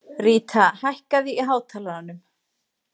Ríta, hækkaðu í hátalaranum.